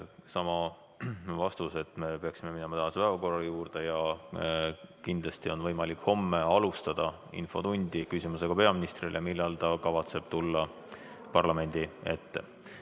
Sama vastus: me peaksime minema tänase päevakorra juurde ja kindlasti on võimalik alustada homset infotundi küsimusega peaministrile, millal ta kavatseb tulla parlamendi ette.